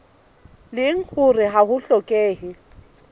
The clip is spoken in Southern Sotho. leng hore ha ho hlokehe